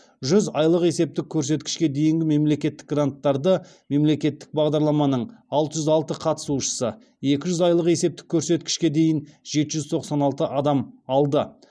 жүз айлық есептік көрсеткішке дейінгі мемлекеттік гранттарды мемлекеттік бағдарламаның алты жүз алты қатысушысы екі жүз айлық есептік көрсеткішке дейін жеті жүз тоқсан алты адам алды